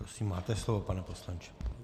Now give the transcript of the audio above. Prosím, máte slovo, pane poslanče.